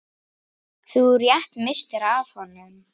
Þú rétt misstir af honum.